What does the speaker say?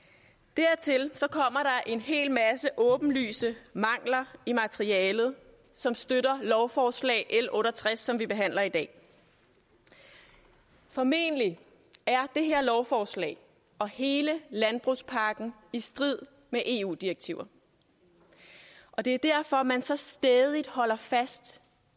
dertil kommer er en hel masse åbenlyse mangler i materialet som støtter lovforslag l otte og tres som vi behandler i dag formentlig er det her lovforslag og hele landbrugspakken i strid med eu direktiver og det er derfor man så stædigt holder fast